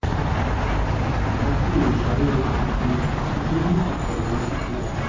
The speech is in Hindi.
भारती ने इशारों में कही थी गिन्नी की प्रेग्नेंसी की बात